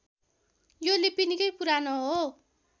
यो लिपि निकै पुरानो हो